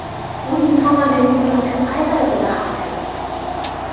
U inson organizmi uchun qay darajada xavfli?